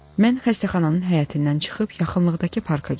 Mən xəstəxananın həyətindən çıxıb yaxınlıqdakı parka getdim.